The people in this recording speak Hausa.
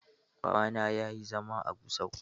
Babana ya yi zama a Gusau.